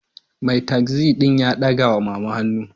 Mai tasi din ya dagawa mama hannu